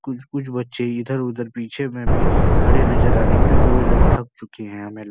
कुछ कुछ बच्चे इधर-उधर पीछे में भी खड़े नजर आने का जो ये लोग थक चुके हैं हमे --